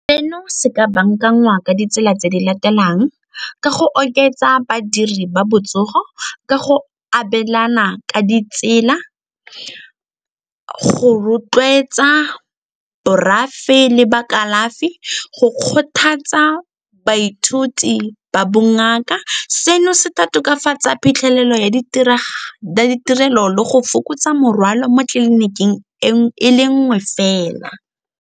Seno se ka bankangwa ka ditsela tse di latelang ka go oketsa badiri ba botsogo, ka go abelana ka ditsela, go rotloetsa borafe le ba kalafi, go kgothatsa baithuti ba bongaka. Seno se tokafatsa phitlhelelo ya ditirelo le go fokotsa morwalo mo tleliniking e le nngwe fela.